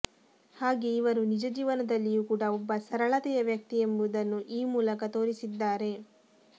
ಹಾಗೇ ಇವರು ನಿಜ ಜೀವನದಲ್ಲಿಯೂ ಕೂಡ ಒಬ್ಬ ಸರಳತೆಯ ವ್ಯಕ್ತಿ ಎಂಬುದನ್ನು ಈ ಮೂಲಕ ತೋರಿಸಿದ್ದಾರೆ